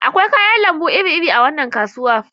Akwai kayan lambu iri-iri a wannan kasuwa.